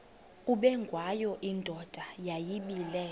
ubengwayo indoda yayibile